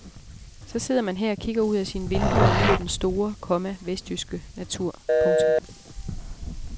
Så sidder man her og kigger ud af sine vinduer og nyder den store, komma vestjyske natur. punktum